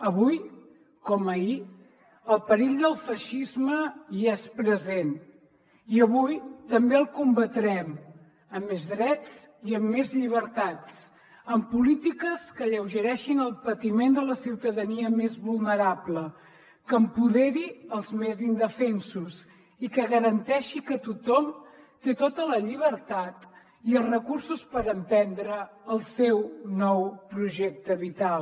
avui com ahir el perill del feixisme hi és present i avui també el combatrem amb més drets i amb més llibertats amb polítiques que alleugereixin el patiment de la ciutadania més vulnerable que empoderi els més indefensos i que garanteixi que tothom té tota la llibertat i els recursos per emprendre el seu nou projecte vital